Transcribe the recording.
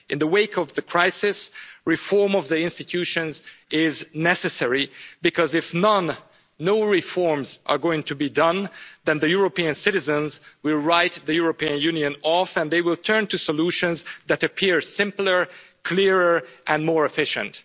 right. In the wake of the crisis, reform of the institutions is necessary, because if no reforms are going to be made, European citizens will write the European Union off and they will turn to solutions that appear simpler, clearer and more efficient.